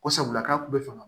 Ko sabula k'a kun bɛ faga